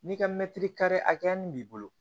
N'i ka mɛtiri kari hakɛya min b'i bolo